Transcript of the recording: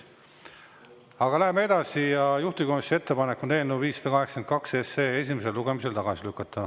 Aga läheme edasi ja juhtivkomisjoni ettepanek on eelnõu 582 esimesel lugemisel tagasi lükata.